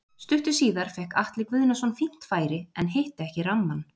Stuttu síðar fékk Atli Guðnason fínt færi en hitti ekki rammann.